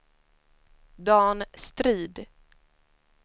Dan Strid